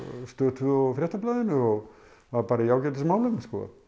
Stöð tvö og á Fréttablaðinu og var bara í ágætismálum